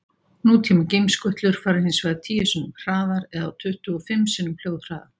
Nútíma geimskutlur fara hins vegar tíu sinnum hraðar eða á tuttugu og fimm sinnum hljóðhraða.